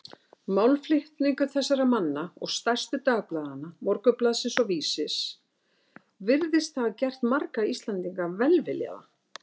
Málflutningur þessara manna og stærstu dagblaðanna, Morgunblaðsins og Vísis, virðist hafa gert marga Íslendinga velviljaða